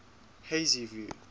hazyview